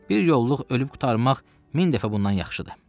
Bir yolluq ölüb qurtarmaq min dəfə bundan yaxşıdır.